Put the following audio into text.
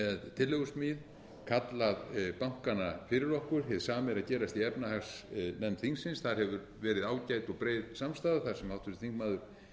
tillögusmíð kallað bankana fyrir okkur hið sama er að gerast í efnahagsnefnd þingsins þar hefur verið ágæt og breið samstaða þar sem háttvirtur þingmaður pétur h blöndal hefur einnig